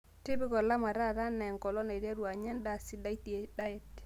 tipika olama taata anaa enkolong naiterru anya endaa sidai diet